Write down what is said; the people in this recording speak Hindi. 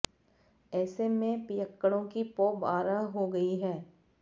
ऐसे में पियक्कड़ों की पौ बारह हो गई है